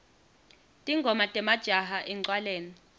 tingoma temajaha encwaleni